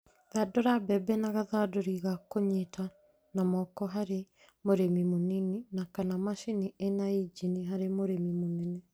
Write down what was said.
Thandũra mbembe na gathandũri gakũnyita na moko harĩ mũrĩmi mũnini kana macini ĩna injini harĩ mũrĩmi mũnene